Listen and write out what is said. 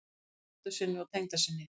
Þakkar dóttur sinni og tengdasyni